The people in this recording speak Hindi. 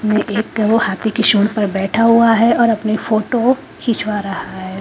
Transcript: वो एक वो हाती के सोर पर बैठा हुआ है और अपने फोटो खिचवा रहा है।